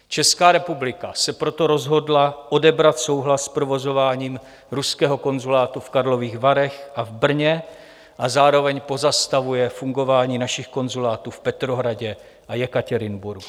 Česká republika se proto rozhodla odebrat souhlas s provozováním ruského konzulátu v Karlových Varech a v Brně a zároveň pozastavuje fungování našich konzulátů v Petrohradě a Jekatěrinburgu.